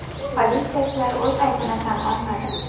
Politsiyachilar o‘z aybini tan olmadi.